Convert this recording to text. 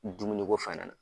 Dumuni ko fɛnɛ na.